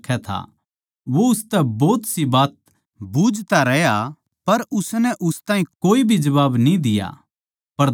वो उसतै भोतसी बात बूझता रहे अर उसनै उस ताहीं कोए भी जबाब न्ही दिया